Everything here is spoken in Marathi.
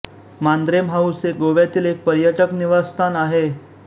मांद्रेम हाऊस हे गोव्यातील एक पर्यटक निवासस्थान आहे